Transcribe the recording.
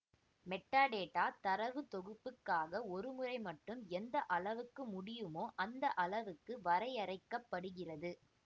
metadata தரவுத்தொகுப்புக்காக ஒருமுறைமட்டும் எந்த அளவுக்கு முடியுமோ அந்த அளவுக்கு வரையறைக்கப்படுகிறது